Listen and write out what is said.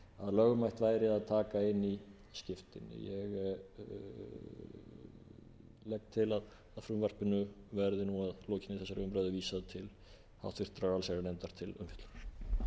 lögmætt væri að taka inn í skiptin ég legg til að frumvarpinu verði að lokinni þessari umræðu vísað til háttvirtrar allsherjarnefndar til umfjöllunar